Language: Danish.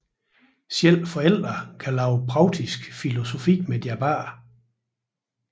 Selv forældre kan lave praktisk filosofi med deres børn